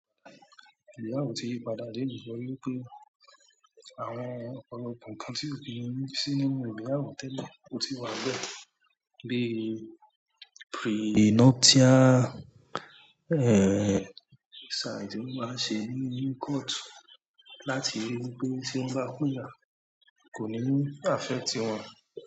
Pẹ̀lú àwọn tí ń yí padà leni torí wí pé àwọn oun kan kan tí mo rí tí mi o bá mo tẹ́lẹ̀ o ti wan be bí prenuptial side ti wọ́n máa ṣe ní inú court láti rí wí pé tí woń bá pín yá kò ní àffect i wọn.